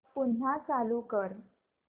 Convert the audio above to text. पुन्हा चालू कर